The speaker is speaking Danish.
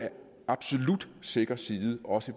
absolut sikker side også